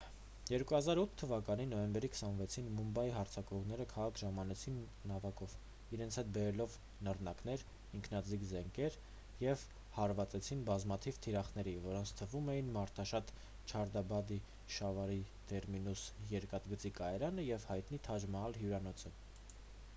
2008 թվականի նոյեմբերի 26-ին մումբայի հարձակվողները քաղաք ժամանեցին նավակով իրենց հետ բերելով նռնակներ ինքնաձիգ զենքեր և հարվածեցին բազմաթիվ թիրախների որոնց թվում էին մարդաշատ չհաթրափաթի շիվաջի տերմինուս երկաթգծի կայարանը և հայտնի թաջ մահալ հյուրանոցը